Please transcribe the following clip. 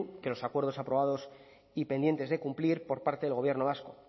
que los acuerdos aprobados y pendientes de cumplir por parte del gobierno vasco